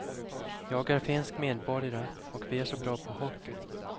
Jag är finsk medborgare, och vi är så bra på hockey.